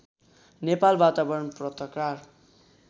नेपाल वातावरण पत्रकार